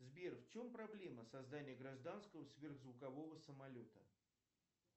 сбер в чем проблема создания гражданского сверхзвукового самолета